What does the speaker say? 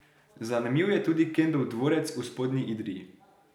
Zanimiv je tudi Kendov dvorec v Spodnji Idriji.